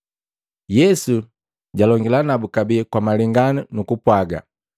Yesu jalongila nabu kabee kwa malengano nukupwaga,